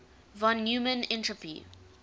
von neumann entropy